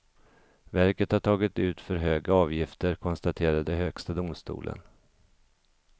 Verket har tagit ut för höga avgifter, konstaterade högsta domstolen.